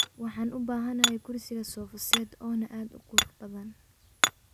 Waxan ubahanhy kusrsiga sofa set oona aad ukurbadan.